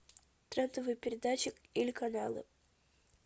трендовые передачи или каналы